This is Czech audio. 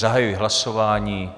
Zahajuji hlasování.